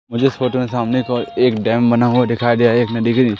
मुझे इस फोटो के सामने एक ओर एक डम बना हुआ दिखाई दे रहा है एक डिगरी--